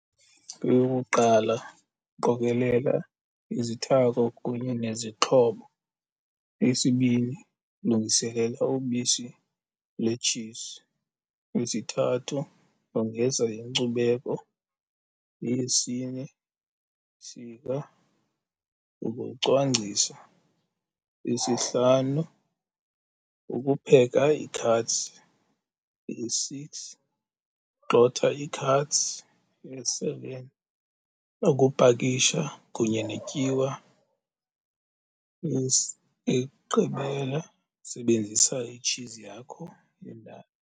Eyokuqala, qokelela izithako kunye nezixhobo. Eyesibini, lungiselela ubisi letshizi. Eyesithathu, yongeza inkcubeko. Eyesine, sika ukucwangcisa. Eyesihlanu, ukupheka ii-curds. Eye-six, gxotha ii-curds. Eye-seven, ukupakisha kunye netyiwa. Eyokugqibela, sebenzisa itshizi yakho yendalo.